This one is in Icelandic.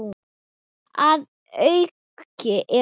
Að auki eru